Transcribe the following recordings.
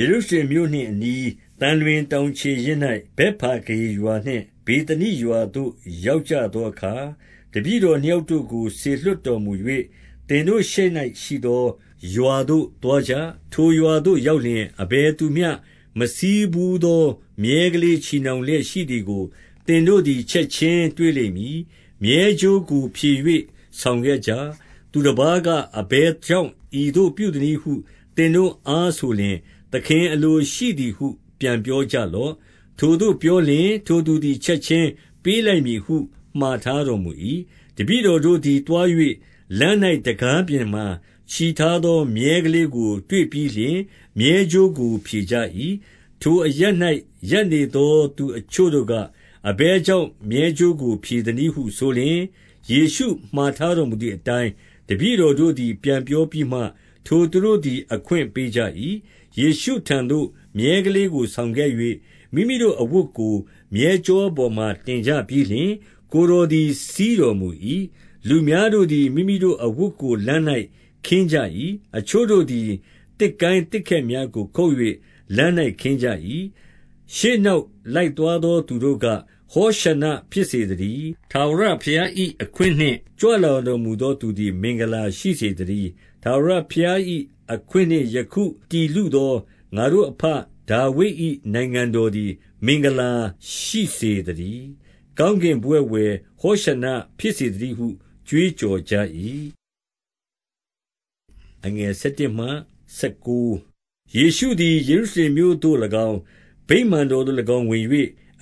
ေရုရှလင်မြို့နှင့် အနီးသံလွင်တောင်ခြေရင်း၌ ဗက်သနိရွာသို့ရောက်ကြသေအခါ တပည့်တော်နှစ် ယောက်တို့ကို စေလွှတ်တောမမူ၍၊ သင်တို့ရှေ့၌ ရှိသောရွာသို့သွားကြ။ ထိုရွာသို့ရောက်လျှင် အဘယ်သူမျှမစီးဘူသော မြည်းကလေး ချည်နှောင်လျက်ရှိသည်ကို သင်တို့သည် ချက်ခြင်းတွေ့လိမ့်မည်။ မြည်းကြိုးကို ဖြည်၍ဆောင်ခံကြ။ သူတပါးက၊ အဘယ်ကြောင့် ဤသို့ပြုသနည်းဟု သင်တို့အားဆိုလျှင်၊ သခင်အလိုရှိသည်ဟု ပြန်ပြော ကြလော့။ ထိုသို့ပြောလျှင် သူတို့သည် ချက်ခြင်းပေးလိုက်မည်ဟု မှာထားတော်မူ၏။ တပည့်တော်တို့သည်သွား၍ လမ်း၌တံခါးပြင်မှာ ချည်ထားသောမြည်းကလေးကို တွေ့ပြီးလျှင် မြည်း ကြိုးကို ဖြည်ကြ၏။ ထိုအရပ်၌ ရပ်နေသောလူအချို့တို့က၊ အဘယ်ကြောင့် မြည်းကြိုးကိုဖြည်သနည်းဟုဆိုလျှင်၊ ယေရှုမှာထားတော်မူသည်အတိုင်း တပည့်တော်တို့သည် ပြန်ပြောပြီးမှ ထိုသူတို့သည် အခွင့်ပေးကြ၏။ ယေရှုထံတော်သို့ မြည်းကလေးကိုဆောင်ခဲ့၍ မိမိတို့အဝတ်ကို မြည်းကျောပေါ်မှာ တင်ကြပြီးလျှင် ကိုယ်တော်သည် စီးတော်မူ၏။ လူအများတို့သည် မိမိတို့အဝတ်ကိုလမ်း၌ ခင်းကြ၏။ အချို့တို့သည် သစ်ကိုင်းသစ်ခတ်များကို ခုတ်၍ လမ်း၌ ခင်းကြ၏။ ရှေ့နောက်လိုက်သွားသောသူတို့က၊ ဟောရှဏ္ဏဖြစ်စေသတည်း။ ထာဝရဘုရား၏အခွင့်နှင့် ကြွတော်မူ သောသူသည် မင်္ဂလာရှိစေသတည်း။ ထာဝရဘုရား၏အခွင့်နှင့် ယခုတည်လုသော ငါတို့အဘဒါဝိဒ်၏နိုင်ငံတော်သည် မင်္ဂလာရှိစေ သတည်း။ ကောင်းကင်ဘဝဂ်ဝယ် ဟောရှဏ္ဏဖြစ်စေသတည်းဟု ကြွေးကြော်ကြ၏။ ယေရှုသည် ယေရုရှလင်မြို့သို့၎င်း၊ ဗိမာန်တော်သို့၎င်း ဝင်၍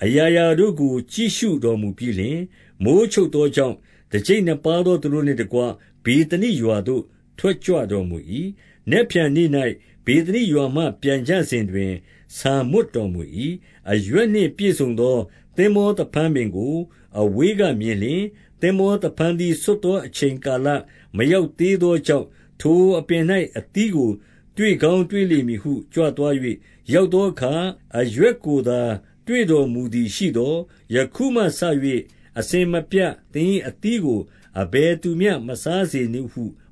အရာရာတို့ကို ကြည့်ရှုတော်မူပြီးလျှင် မိုဃ်းချုပ်သောကြောင့် တကျိပ်နှစ်ပါးသောသူတို့နှင့်တကွ ဗေသနိရွာသို့ ထွက်ကြွတော်မူ၏။ နက်ဖြန်နေ့၌ ဗေသနိရွာမှပြန်ကြစဉ်တွင် ဆာမွတ်တော်မူ၏။ အရွက်နှင့်ပြည့်စုံသော သင်္ဘောသဖန်းပင်ကိုအဝေးကမြင်လျှင်။ သင်္ဘောသဖန်းသီးဆွတ်ချိန်ကာလ မ ရောက်သေးသောကြောင့်၊ ထိုအပင်၌ အသီးကိုတွေ့ကောင်းတွေ့လိမ့်မည်ဟု ကြွသွား၍ရောက်သောအခါ၊ အရွက်ကိုသာ တွေ့တော်မူသည်ရှိသော်၊ ယခုမှစ၍အစဉ်မပြတ် သင်၏အသီးကို အဘယ်သူမျှမစားစေနှင့်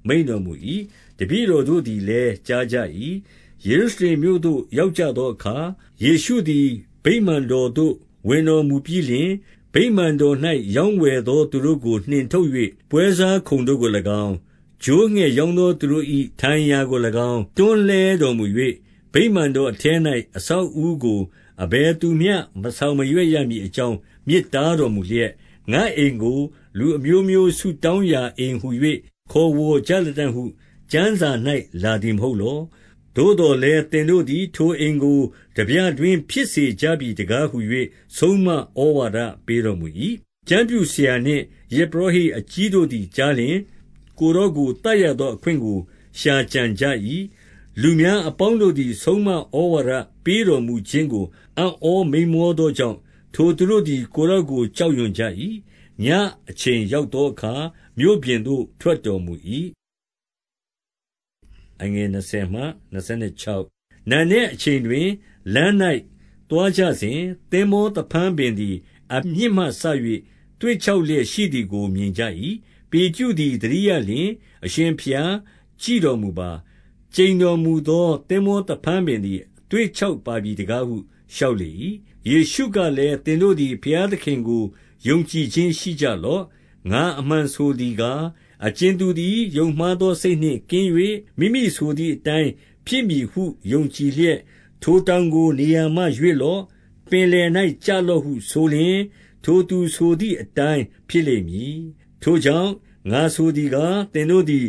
မိန့်တော်မူ၏။ တပည့်တော် တို့သည် လည်း ကြားကြ၏။ ယေရုရှလင်မြို့သို့ ရောက်သောအခါ ယေရှုသည် ဗိမာန်တော်သို့ ဝင်တော်မူပြီးလျှင်၊ ဗိမာန်တော်၌ ရောင်းဝယ်သောသူတို့ကို နှင်ထုတ်၍ ပွဲစားခုံတို့ကို၎င်း၊ ချိုးငှက်ရောင်းသောသူတို့၏ ထိုင်ရာကို၎င်း တွန်းလှဲ တော်မူ၍၊ ဗိမာန်တော်ထဲ၌ အဆောက်အဦးကို အဘယ်သူမျှ မဆောင်မရွက်ရမည်အကြောင်း မြစ်တားတော် မူလျက်၊ ငါ့အိမ်ကို လူအမျိုးမျိုး ဆုတောင်းရာအိမ်ဟူ၍ ခေါ်ဝေါ်ကြလတံ့ဟု ကျမ်းစာ၌လာသည်မဟုတ်လော။ သို့သော်လည်း သင်တို့သည် ထိုအိမ်ကို ထားပြတွင်းဖြစ်စေကြပြီးတကားဟူ၍ ဆုံးမဩဝါဒပေးတော်မူ၏။ ကျမ်းပြုဆရာနှင့် ယဇ်ပုရောဟိတ်အကြီးတို့သည်ကြားလျှင်၊ ကိုယ်တော်ကို သတ်ရသောအခွင့်ကို ရှာကြံကြ၏။ လူအပေါင်းတို့သည် ဆုံးမဩဝါဒပေးတော်မူခြင်းကို အံ့ဩမိန်းမောသောကြောင့်၊ ထိုသူတို့သည် ကိုယ်တော်ကို ကြောက်ရွံ့ကြ၏။ ညအချိန်ရောက်သောအခါ မြို့ပြင်သို့ထွက်တော်မူ၏။ နံနက်အချိန်တွင် လမ်း၌သွားကြစဉ်၊ သင်္ဘောသဖန်းပင်သည် အမြစ်မှစ၍သွေ့ခြောက်လျက်ရှိသည်ကို မြင်ကြ၏။ ပေတရုသည် သတိရလျှင်၊ အရှင်ဘုရားကြည့်တော်မူပါ။ ကျိန်းတော်မူသော သင်္ဘောသဖန်းပင်သည် သွေ့ခြောက်ပါပြီတကားဟု လျှောက်လေ၏။ ယေရှုကလည်း၊ သင်တို့သည်ဘုရားသခင်ကို ယုံကြည်ခြင်းရှိကြလော့။ ငါအမှန်ဆိုသည်ကား၊ အကြင်သူသည် ယုံမှားသောစိတ်နှင့်ကင်း၍ မိမိဆိုသည်အတိုင်းဖြစ်မည်ဟု ယုံ ကြည်လျက်။ ထိုတောင်ကို နေရာမှရွေ့လော့၊ ပင်လယ်၌ ကျလော့ဟုဆိုလျှင်၊ ထိုသူဆိုသည်အတိုင်း၊ ဖြစ်လိမ့် မည်။ ထိုကြောင့်ငါဆိုသည်ကား၊ သင်တို့သည်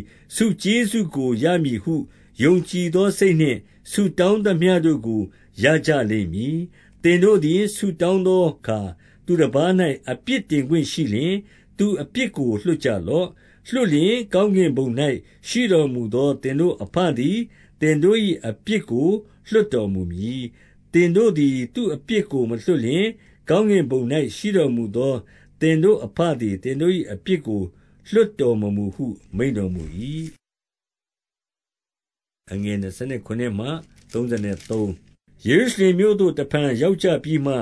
ကျေးဇူးကိုရမည်ဟု ယုံကြည်သောစိတ်နှင့် ဆုတောင်းသမျှ တို့ကို ရကြလိမ့်မည်။ သင်တို့သည် ဆုတောင်းသောအခါ သူတပါး၌အပြစ်တင်ခွင့်ရှိလျှင်၊ သူ့အပြစ်ကိုလွှတ်ကြလော့။ လွှတ်လျှင် ကောင်းကင်ဘုံ၌ ရှိတော်မူသော သင်တို့အဘသည် သင်တို့၏အပြစ်ကို လွှတ်တော်မူမည်။ သင်တို့သည် သူ့အပြစ်ကို မလွှတ်လျှင်၊ ကောင်းကင်ဘုံ၌ ရှိတော်မူသောသင်တို့အဘသည် သင်တို့၏ အပြစ်ကို လွှတ်တော်မမူဟု မိန့်တော်မူ၏။ ယေရုရှလင်မြို့သို့ တဖန်ရောက်ကြပြီးမှ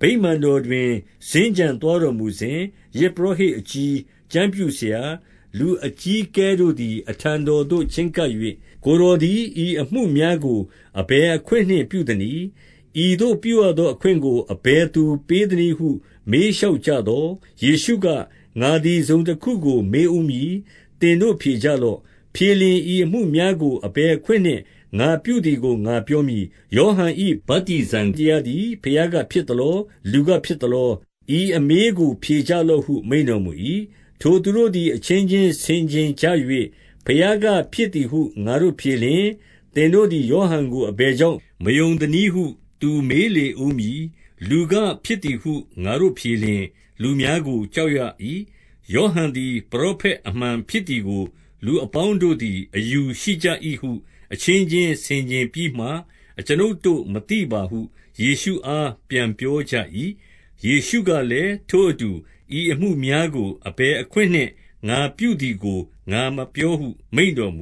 ဗိမာန်တော်တွင် စင်္ကြံသွားတော်မူစဉ်၊ ယဇ်ပုရောဟိတ်အကြီး၊ ကျမ်းပြုဆရာ၊ လူအကြီးအကဲတို့သည် အထံတော်သို့ချဉ်းကပ်၍၊ ကိုယ်တော်သည် ဤအမှုများကို အဘယ်အခွင့်နှင့်ပြုသနည်း။ ဤသို့ပြုသောအခွင့်ကို အဘယ်သူပေး သနည်းဟု မေးလျှောက်ကြသော်၊ ယေရှုက၊ ငါသည်တစုံတခုကိုမေးဦးမည်။ သင်တို့ဖြေကြလော့။ ဖြေလျှင်ဤအမှုများကို အဘယ်အခွင့် နှင့် ငါပြုသည်ကို ငါပြောမည်။ ယောဟန်၏ ဗတ္တိဇံတရားသည် ဘုရားကဖြစ်သလော။ လူကဖြစ်သလော။ ဤအမေးကို ဖြေကြလော့ ဟု မိန့်တော်မူ၏။ ထိုသူတို့သည် အချင်းချင်းဆင်ခြင်ကြ၍၊ ဘုရားကဖြစ်သည်ဟု ငါတို့ဖြေလျှင်၊ သင်တို့သည်ယောဟန် ကို အဘယ်ကြောင့်မယုံသနည်းဟု သူမေးလေဦးမည်။ လူကဖြစ်သည်ဟု ငါတို့ဖြေလျှင်၊ လူများကိုကြောက်ရ၏။ ယောဟန်သည် ပရောဖက် အမှန်ဖြစ်သည် ကို လူအပေါင်းတို့သည် အယူရှိကြ၏ဟု အချင်းချင်းဆင်ခြင်ပြီးမှ၊ အကျွန်ုပ်တို့မသိပါဟု ယေရှုအားပြန်ပြောကြ၏။ ယေရှုကလည်း၊ ထိုအတူ ဤအမှုများကို အဘယ် အခွင့်နှင့် ငါပြုသည်ကို ငါမပြောဟု မိန့်တော်မူ